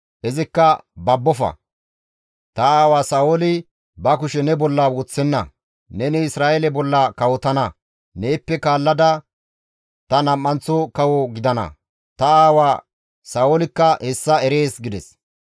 Izikka, «Babbofa! Ta aawa Sa7ooli ba kushe ne bolla woththenna; neni Isra7eele bolla kawotana; neeppe kaallada ta nam7anththo kawo gidana; ta aawa Sa7oolikka hessa erees» gides.